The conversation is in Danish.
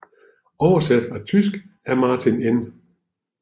Oversat fra tysk af Martin N